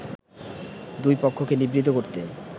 দুই পক্ষকে নিবৃত করতে